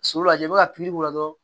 So lajɛ i bɛ ka pikiri k'o la dɔrɔn